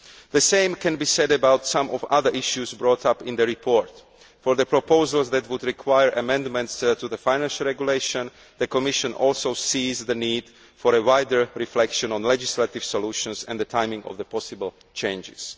The same can be said about some of the other issues brought up in the report. For the proposals that would require amendments to the Financial Regulation, the Commission also sees the need for a wider reflection on legislative solutions and the timing of the possible changes.